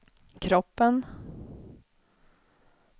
kroppen